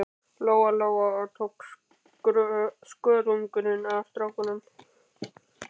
Lóa Lóa og tók skörunginn af stráknum.